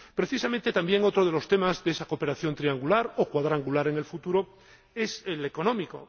Precisamente también otro de los temas de esa cooperación triangular, o cuadrangular en el futuro, es el económico.